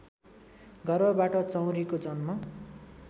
गर्भबाट चौँरीको जन्म